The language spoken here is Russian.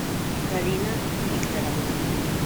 галина викторовна